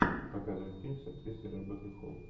показывай фильм с актрисой ребеккой холл